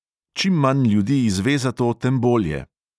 "Čim manj ljudi izve za to, tem bolje."